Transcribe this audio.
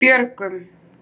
Björgum